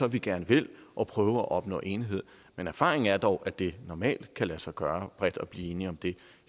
vi gerne vil og prøve at opnå enighed men erfaringen er dog at det normalt kan lade sig gøre bredt at blive enige om det